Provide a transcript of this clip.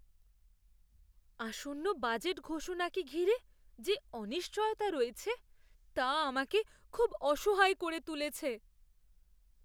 আসন্ন বাজেট ঘোষণাকে ঘিরে যে অনিশ্চয়তা রয়েছে, তা আমাকে খুব অসহায় করে তুলেছে।